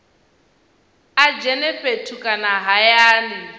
a dzhene fhethu kana hayani